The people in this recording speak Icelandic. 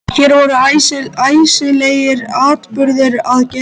Hér voru æsilegir atburðir að gerast.